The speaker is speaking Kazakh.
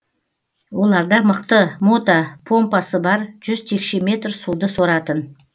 оларда мықты мотопомпасы бар жүз текше метр суды соратын